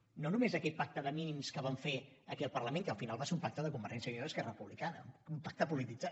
ho només aquell pacte de mínims que van fer aquí al parlament que al final va ser un pacte de convergència i unió i esquerra republicana un pacte polititzat